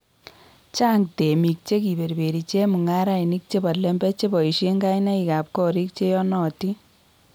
Chang temik chekiberberi chemung'arainik chebo lembech che boisien kainaikab korik cheyanotin